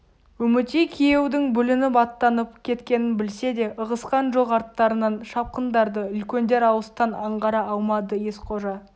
үмітей күйеудің бүлініп аттанып кеткенін білсе де ығысқан жоқ арттарынан шапқындарды үлкендер алыстан аңғара алмады ескожа